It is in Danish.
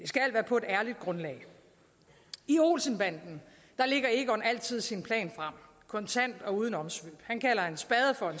skal være på et ærligt grundlag i olsen banden lægger egon altid sin plan frem kontant og uden omsvøb han kalder en spade for